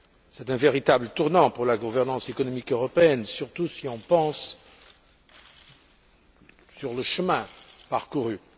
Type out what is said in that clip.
C'est un véritable tournant pour la gouvernance économique européenne, surtout si l'on pense au chemin parcouru.